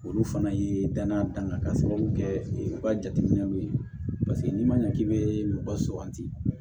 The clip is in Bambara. Olu fana ye danaya dan kan ka sababu kɛ u ka jateminɛw ye paseke n'i ma ɲɛ k'i bɛ mɔgɔ suganti